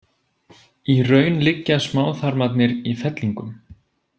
Í raun liggja smáþarmarnir í fellingum.